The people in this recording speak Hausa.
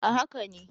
A haka ne